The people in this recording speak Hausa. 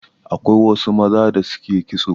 Akwai wasu maza da suke kitso.